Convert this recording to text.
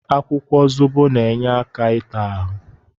Akwụkwọ zobo na-enye aka ịta ahụ.